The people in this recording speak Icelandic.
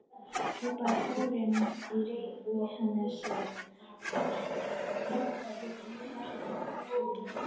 hrópaði Þórunn í Reykjanesi, kotroskin stelpa með freknur.